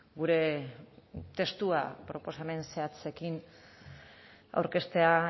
gure testua proposamen zehatzekin aurkeztea